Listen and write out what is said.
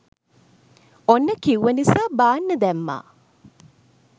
ඔන්න කිව්ව නිසා බාන්න දැම්මා